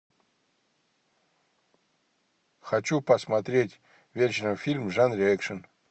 хочу посмотреть вечером фильм в жанре экшн